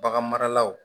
Bagan maralaw